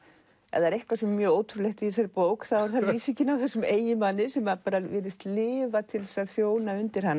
ef það er eitthvað sem er mjög ótrúlegt í þessari bók þá er það lýsingin á þessum eiginmanni sem virðist lifa til þess að þjóna undir hana